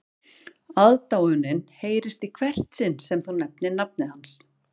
Aðdáunin heyrist í hvert sinn sem þú nefnir nafnið hans